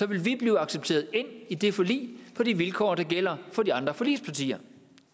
vil blive accepteret ind i det forlig på de vilkår der gælder for de andre forligspartier